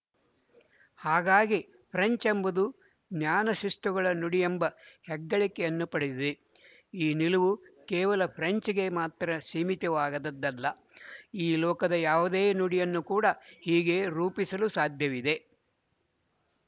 ಹಾಗಾಗಿ ಫ್ರೆಂಚ್ ಎಂಬುದು ಜ್ಞಾನಶಿಸ್ತುಗಳ ನುಡಿಯೆಂಬ ಹೆಗ್ಗಳಿಕೆಯನ್ನು ಪಡೆದಿದೆ ಈ ನಿಲುವು ಕೇವಲ ಫ್ರೆಂಚ್‍ಗೆ ಮಾತ್ರ ಸೀಮಿತವಾದದ್ದಲ್ಲ ಈ ಲೋಕದ ಯಾವುದೇ ನುಡಿಯನ್ನು ಕೂಡ ಹೀಗೆ ರೂಪಿಸಲು ಸಾಧ್ಯವಿದೆ